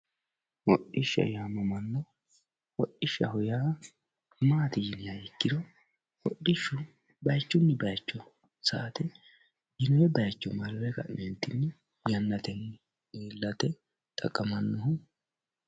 hodhishsha yaamamanno hodhishshaho yaa maati yiniha ikkiro hodhishshu bayiichunni bayiicho sa'ate yinoonni bayiicho marre ka'neentinni yannatenni iillate xaqqamannoho.